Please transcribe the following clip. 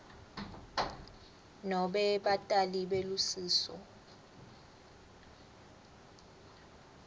nobe batali belusiso